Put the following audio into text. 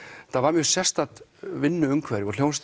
þetta var mjög sérstakt vinnuumhverfi og hljómsveit